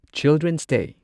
children's ꯗꯦ